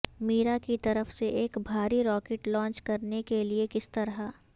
میرا کی طرف سے ایک بھاری راکٹ لانچ کرنے کے لئے کس طرح